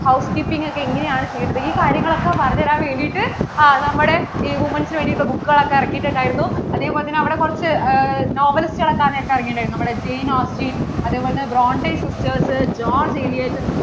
house keeping ഒക്കെ എങ്ങനെ ആണ് ചെയ്യേണ്ടത് ഈ കാര്യങ്ങൾ ഒക്കെ പറഞ്ഞു തരാൻ വേണ്ടിട്ടു ആ നമ്മടെ ഇ women's വേണ്ടിട്ടുള്ള book കൾ ഒക്കെ ഇറക്കിട്ടുണ്ടായിരുന്നു. അതേപോലെ തന്നെ അവിടെ കുറച്ചു novelist കളൊക്കെ ആ നേരത്തു ഇറങ്ങിയിട്ട് ഉണ്ടായിരുന്നു നമ്മടെ janeausten, അതേപോലെ തന്നെ brontesisters, Georgeelison